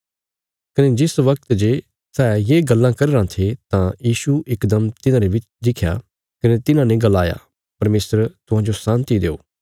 कने जिस वगत जे सै ये गल्लां करी रां थे तां यीशु इकदम तिन्हारे विच दिखया कने तिन्हाने गलाया परमेशर तुहांजो शान्ति देओ